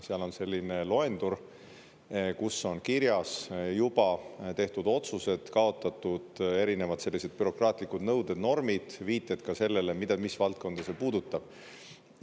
Seal on selline loendur, kus on kirjas juba tehtud otsused, kaotatud erinevad selliseid bürokraatlikud nõuded, normid, viited ka sellele, mida, mis valdkonda see puudutab.